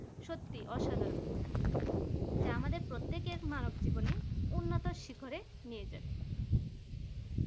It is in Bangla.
সত্যিই অসাধারণ যা আমাদের প্রত্যেকের মানব জীবনে উন্নত শিখরে নিয়ে যাচ্ছে